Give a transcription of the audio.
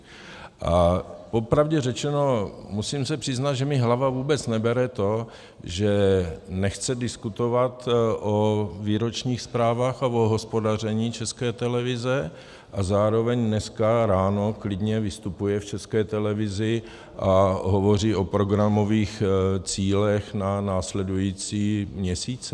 A popravdě řečeno, musím se přiznat, že mi hlava vůbec nebere to, že nechce diskutovat o výročních zprávách a o hospodaření České televize, a zároveň dneska ráno klidně vystupuje v České televizi a hovoří o programových cílech na následující měsíce.